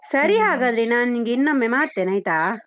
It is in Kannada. ಸರೀ ಹಾಗಾದ್ರೆ ನಾನ್ ನಿಂಗೆ ಇನ್ನೊಮ್ಮೆ ಮಾಡ್ತೇನೆ ಆಯ್ತಾ?